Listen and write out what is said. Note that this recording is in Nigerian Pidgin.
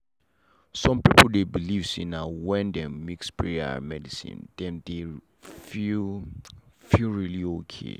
some people dey believe say na when dem mix prayer and medicine dem dey feel feel really okay.